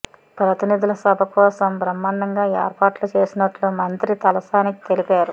ప్రతినిధుల సభ కోసం బ్రహ్మాండంగా ఏర్పాట్లు చేసినట్లు మంత్రి తలసాని తెలిపారు